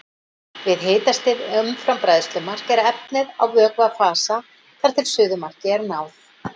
Við hitastig umfram bræðslumark er efnið á vökvafasa þar til suðumarki er náð.